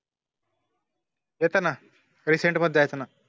येताना reset मध्ये सामना